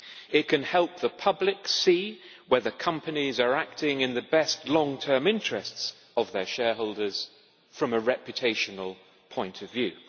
It can help the public see whether companies are acting in the best long term interests of their shareholders from a reputational point of view.